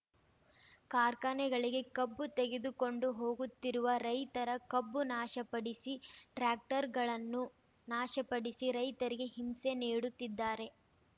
ಕಾರ್ಖಾನೆಗಳಿಗೆ ಕಬ್ಬು ತೆಗೆದುಕೊಂಡು ಹೋಗುತ್ತಿರುವ ರೈತರ ಕಬ್ಬು ನಾಶಪಡಿಸಿ ಟ್ರಾಕ್ಟರ್‌ಗಳನ್ನು ನಾಶಪಡಿಸಿ ರೈತರಿಗೆ ಹಿಂಸೆ ನೀಡುತ್ತಿದ್ದಾರೆ